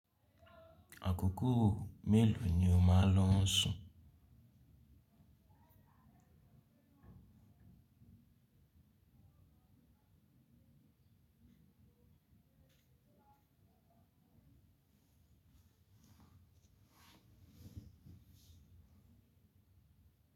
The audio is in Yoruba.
Àkókò mélòó ni o máa lọ sùn?